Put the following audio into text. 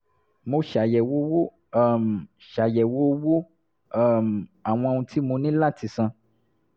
mo ṣàyẹ̀wò owó um ṣàyẹ̀wò owó um àwọn ohun tí mo ní láti san